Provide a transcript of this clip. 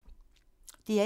DR1